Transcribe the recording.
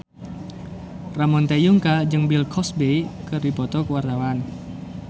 Ramon T. Yungka jeung Bill Cosby keur dipoto ku wartawan